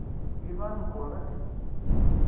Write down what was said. ивангород